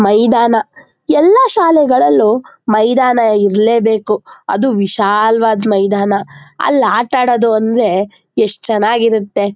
ಮೈದಾನ ಎಲ್ಲ ಶಾಲೆಗಳಲ್ಲೂ ಮೈದಾನ ಇರಲೇಬೇಕು ಅದೂ ವಿಶಾಲವಾದ ಮೈದಾನ ಅಲ್ಲಿ ಆಟ ಆಡೋದು ಅಂದ್ರೆ ಎಷ್ಟು ಚೆನ್ನಾಗಿರುತ್ತೆ.